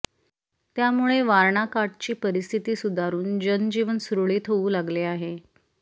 त्यामुळे वारणा काठची परिस्थिती सुधारून जनजीवन सुरळीत होऊ लागले आहे